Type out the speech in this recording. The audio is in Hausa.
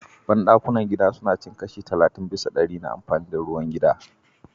Ban-dakunan gida suna cin kusan kashi 30% na amfani da ruwan gida.